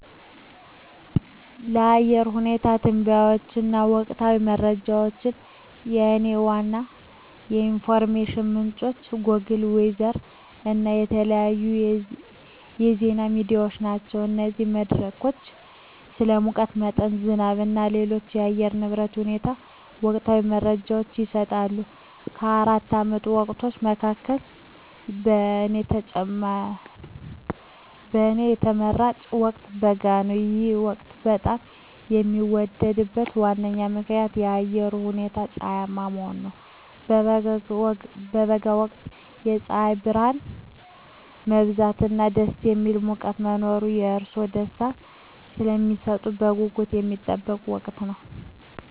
ለአየር ሁኔታ ትንበያዎች እና ወቅታዊ መረጃዎች፣ የእኔ ዋና የኢንፎርሜሽን ምንጮች ጎግል ዌዘር እና የተለያዩ የዜና ሚዲያዎች ናቸው። እነዚህ መድረኮች ስለ ሙቀት መጠን፣ ዝናብ እና ሌሎች የአየር ንብረት ሁኔታዎች ወቅታዊ መረጃዎችን ይሰጣሉ። ከአራቱ የዓመት ወቅቶች መካከል፣ የእኔ ተመራጭ ወቅት በጋ ነው። ይህ ወቅት በጣም የሚወደድበት ዋና ምክንያት የአየሩ ሁኔታ ፀሐያማ መሆኑ ነው። በበጋ ወቅት የፀሐይ ብርሃን መብዛት እና ደስ የሚል ሙቀት መኖር ለእርስዎ ደስታን ስለሚሰጡት በጉጉት የሚጠበቅ ወቅት ነው።